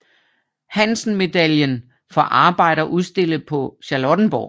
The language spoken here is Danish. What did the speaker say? Hansen Medaillen for arbejder udstillet på Charlottenborg